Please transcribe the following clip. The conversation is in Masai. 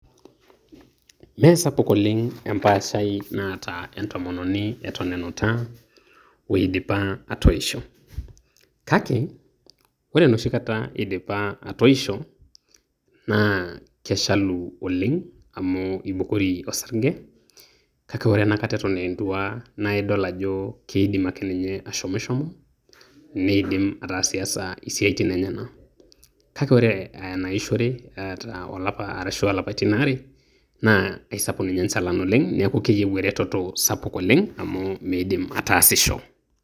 Mesapuk oleng' empaashai naata entomononi eton enuta oeidipa atoisho, kake ore enoshikata eidipa atoisho, naa keshalu oleng amuu eibukori orsarge' kake ore enakata eton aa entuaa naa idol ajo keidim ake ninye ashomishomo, neidim ataasiasa isiaitin enyanak, kake ore aa enaishorie etaa olapa arashua ilapaitin aare, naa aisapuk ninye enchalan oleng' neeku keyieu ninye eretoto sapuk oleng' amuu meidim ninye ataasisho.